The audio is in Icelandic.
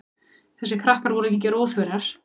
Þessir krakkar voru engir óþverrar.